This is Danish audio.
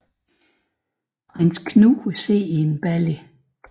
Prins Knud sidder i en balje